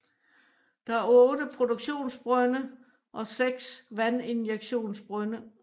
Der er 8 produktionsbrønde og 6 vandinjektionsbrønde